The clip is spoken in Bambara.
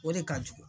O de ka jugu